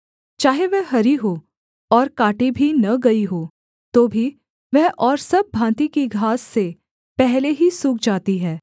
चाहे वह हरी हो और काटी भी न गई हो तो भी वह और सब भाँति की घास से पहले ही सूख जाती है